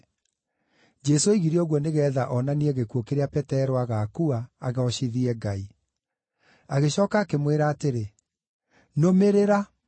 Jesũ oigire ũguo nĩgeetha onanie gĩkuũ kĩrĩa Petero agaakua, agoocithie Ngai. Agĩcooka akĩmwĩra atĩrĩ, “Nũmĩrĩra!”